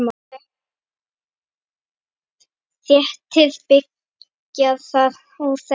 Þétting byggðar var óþekkt hugtak.